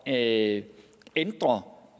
at ændre